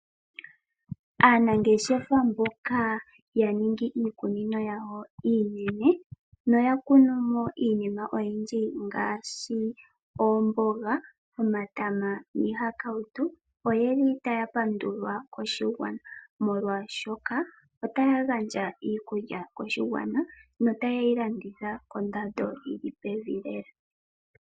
Aanangeshefa mboka ya ningi iikunino yawo iinene noyakunumo iinima oyindji ngaashi molwaashoka otaya gandja iikulya koshigwana no tayeyi landitha kondando yili pevi lela.